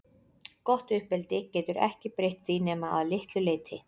Gott uppeldi getur ekki breytt því nema að litlu leyti.